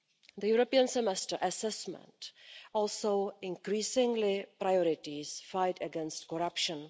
The European semester assessment also increasingly prioritises the fight against corruption.